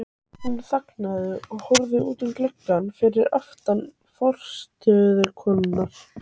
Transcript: Þig vantar tilfinnanlega í Garð tveggja systra.